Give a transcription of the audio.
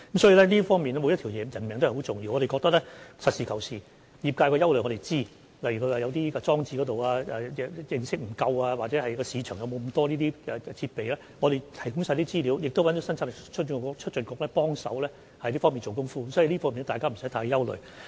所以，每條人命也很重要，我們要實事求是，我們知悉業界的憂慮，例如有業界人士對裝置的認識不足，或憂慮市場有否那麼多設備，我們會提供資料，亦邀請了香港生產力促進局幫忙在這方面做工夫，所以，大家無須太憂慮。